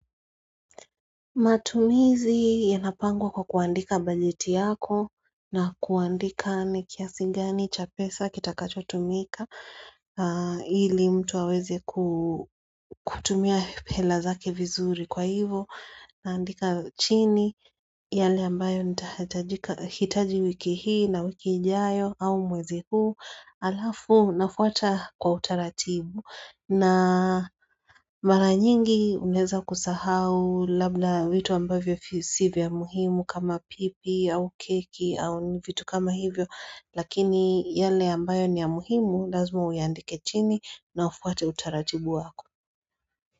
Matumizi yanapangwa kwa kuandika bajeti yako na kuandika ni kiasi gani cha pesa kitakachotumika ili mtu aweze kutumia hela zake vizuri kwa hivo naandika chini yale ambayo nahitaji wiki hii na wiki ijayo au mwezi huu alafu nafuata kwa utaratibu. Na mara nyingi unaeza kusahau labda vitu ambavyo si vya muhimu kama pipi au keki au vitu kama hivyo Lakini yale ambayo ni ya muhimu lazima uyaandike chini na ufuate utaratibu wako.